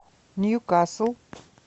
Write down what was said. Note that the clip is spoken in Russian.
ньюкасл